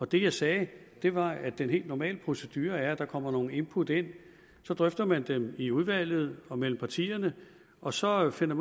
det jeg sagde var at den helt normale procedure er at der kommer nogle input ind og så drøfter man dem i udvalget og mellem partierne og så finder